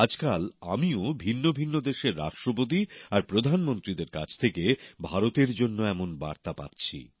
আজকাল আমিও ভিন্ন ভিন্ন দেশের রাষ্ট্রপতি আর প্রধানমন্ত্রীদের কাছে থেকে ভারতের জন্য এমন বার্তা পাচ্ছি